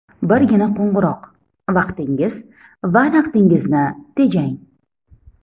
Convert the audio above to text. Birgina qo‘ng‘iroq – vaqtingiz va naqdingizni tejang!